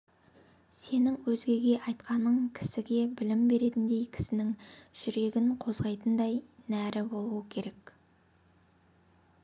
сенің өзгеге айтқаның кісіге білім беретіндей кісінің жүрегін қозғайтындай нәрі болуы керек